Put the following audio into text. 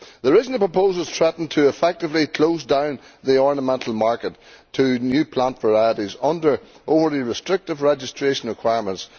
The recent proposal threatens to effectively close down the ornamental market to new plant varieties under already restrictive registration requirements.